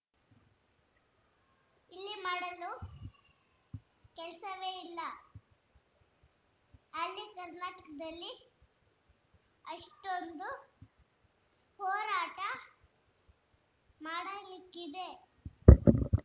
ಇಲ್ಲಿ ಮಾಡಲು ಕೆಲಸವೇ ಇಲ್ಲ ಅಲ್ಲಿ ಕರ್ನಾಟಕದಲ್ಲಿಆಷ್ಟೊಂದು ಹೋರಾಟ ಮಾಡಲಿಕ್ಕಿದೆ